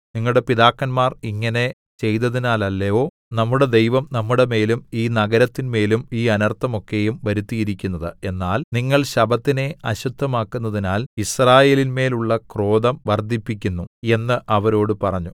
നിങ്ങളുടെ പിതാക്കന്മാർ ഇങ്ങനെ ചെയ്തതിനാലല്ലയോ നമ്മുടെ ദൈവം നമ്മുടെമേലും ഈ നഗരത്തിന്മേലും ഈ അനർത്ഥം ഒക്കെയും വരുത്തിയിരിക്കുന്നത് എന്നാൽ നിങ്ങൾ ശബ്ബത്തിനെ അശുദ്ധമാക്കുന്നതിനാൽ യിസ്രായേലിന്മേൽ ഉള്ള ക്രോധം വർദ്ധിപ്പിക്കുന്നു എന്ന് അവരോട് പറഞ്ഞു